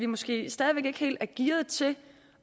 måske stadig væk ikke helt er gearet til at